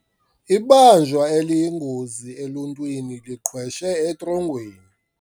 Ibanjwa eliyingozi eluntwini liqhweshe etrongweni.